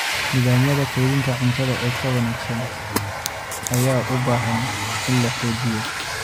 Nidaamyada kaydinta cuntada ee ka wanaagsan ayaa u baahan in la xoojiyo.